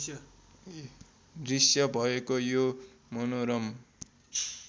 दृश्य भएको यो मनोरम